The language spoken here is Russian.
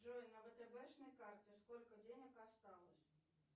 джой на втбшной карте сколько денег осталось